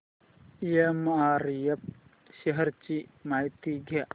MRF shares ची माहिती द्या